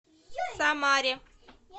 самаре